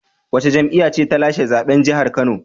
Wace jam'iyya ce ta lashe zaben jihar Kano?